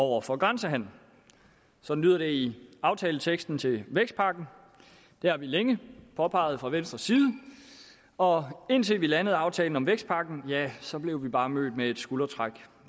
over for grænsehandel sådan lyder det i aftaleteksten til vækstpakken det har vi længe påpeget fra venstres side og indtil vi landede aftalen om vækstpakken ja så blev vi bare mødt med et skuldertræk